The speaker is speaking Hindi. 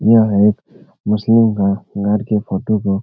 यह एक मुस्लिम का घर के फोटो को --